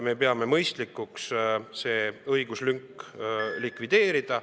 Me peame mõistlikuks see õiguslünk likvideerida.